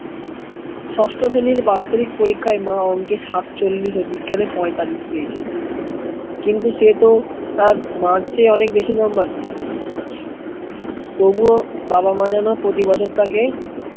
ষষ্ঠ শ্রেণির বার্ষিক পরীক্ষায় মাওন কে সাতচল্লিশ বিজ্ঞানে পয়তালিশ পেয়েছিল কিন্তু সেই তো তার march এর অনেক বেশি number পেয়েছে তবুও বাবা-মা যেন প্রতি বছর থাকে